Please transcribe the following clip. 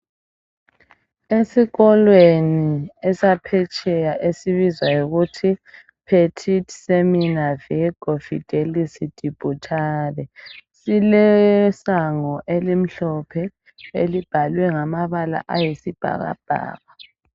Esikholweni esaphetsheya esibizwa yikuthi petit seminaire virgo fidelis de butare silesango elimhlophe elibhalwe ngamabala ayisibhakabhaka